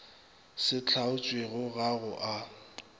se hlaotšwego ga go a